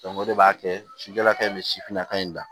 o de b'a kɛ sidalaka in bɛ sifinnaka in na